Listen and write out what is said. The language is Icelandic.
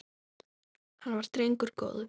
Hann var drengur góður